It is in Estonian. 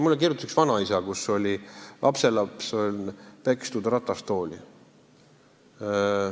Mulle kirjutas üks vanaisa, kelle lapselast oli pekstud niimoodi, et ta on ratastoolis.